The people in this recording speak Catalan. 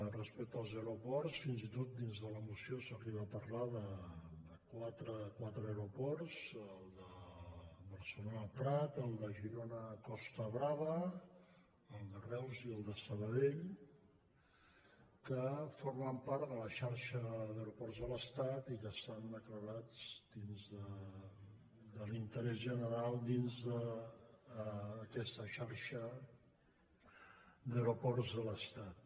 respecte als aeroports fins i tot dins de la moció s’arriba a parlar de quatre aeroports el de barcelona el prat el de girona costa brava el de reus i el de sabadell que formen part de la xarxa d’aeroports de l’estat i que estan declarats d’interès general dins d’aquesta xarxa d’aeroports de l’estat